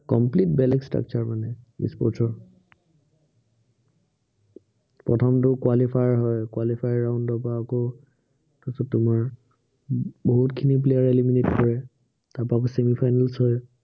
complete বেলেগ structure মানে E-sports ৰ প্ৰথমটো qualifier হয় qualifier round ৰ পৰা আকৌ, তাৰপিছত তোমাৰ উম বহুতখিনি player eliminate হয়। তাৰপৰা আকৌ finals হয়